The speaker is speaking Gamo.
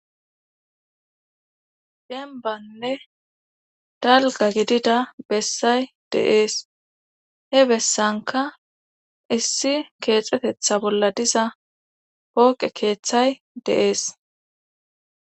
dembanne dalgga gidida bessay de'ees he bessankka issi keexxetetha bolla diza pooqe keeththay de'ees